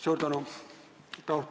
Suur tänu!